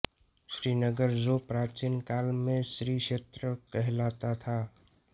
श्रीनगर जो प्राचीन काल में श्री क्षेत्र कहलाता था